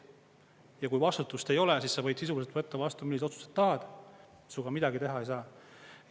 Ja kui vastutust ei ole, siis sa võid sisuliselt võtta vastu milliseid otsuseid tahad, sinuga midagi teha ei saa.